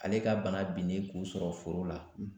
Ale ka bana binnen k'u sɔrɔ foro la